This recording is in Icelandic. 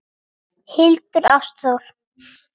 Hildur Ástþór.